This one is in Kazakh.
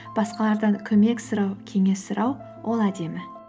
басқалардан көмек сұрау кеңес сұрау ол әдемі